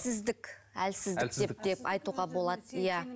әлсіздік деп айтуға болады иә